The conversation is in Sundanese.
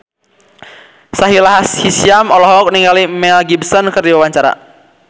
Sahila Hisyam olohok ningali Mel Gibson keur diwawancara